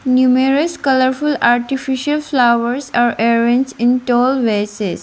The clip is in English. numerous colourful artificial flowers are arrange in tall vases.